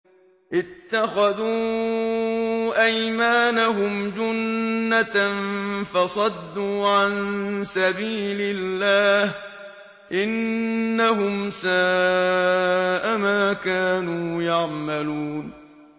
اتَّخَذُوا أَيْمَانَهُمْ جُنَّةً فَصَدُّوا عَن سَبِيلِ اللَّهِ ۚ إِنَّهُمْ سَاءَ مَا كَانُوا يَعْمَلُونَ